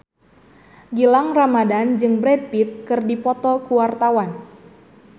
Gilang Ramadan jeung Brad Pitt keur dipoto ku wartawan